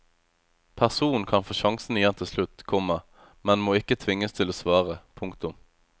Personen kan få sjansen igjen til slutt, komma men må ikke tvinges til å svare. punktum